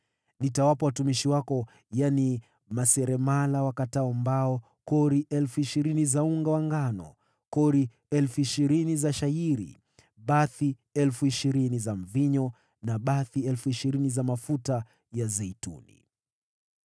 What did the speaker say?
Nitawapa watumishi wako, yaani, maseremala wakatao mbao, kori 20,000 za unga wa ngano, kori 20,000 za shayiri, bathi 20,000 za mvinyo, na bathi 20,000 za mafuta ya zeituni.”